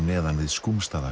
neðan við